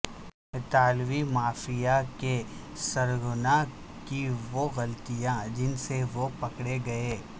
اطالوی مافیا کے سرغنہ کی وہ غلطیاں جن سے وہ پکڑے گئے